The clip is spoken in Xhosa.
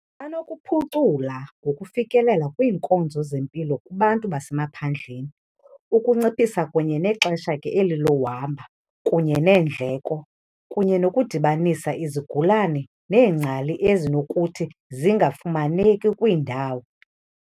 Banokuphucula ngokufikelela kwiinkonzo zempilo kubantu basemaphandleni, ukunciphisa kunye nexesha ke eli lohamba kunye neendleko kunye nokudibanisa izigulane neengcali ezinokuthi zingafumaneki kwiindawo.